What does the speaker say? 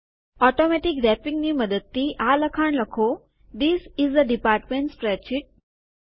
automatic રેપીંગની મદદથી આ લખાણ લખો this is a department spreadsheet